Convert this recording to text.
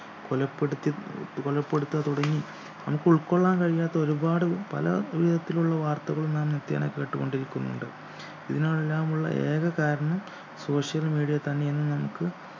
കൊലപ്പെടുത്തി ഏർ കൊലപ്പെടുത്തുക തുടങ്ങി നമുക്കുൾക്കൊള്ളാൻ കഴിയാത്ത ഒരുപാട് പല ഈ വിധത്തിലുള്ള വാർത്തകളും നാം നിത്യേനെ കേട്ടുകൊണ്ടിരിക്കുന്നുണ്ട് ഇതിനെല്ലാം ഉള്ള ഏക കാരണം social media തന്നെയെന്ന് നമുക്ക്